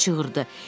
Kimsə çığırdı.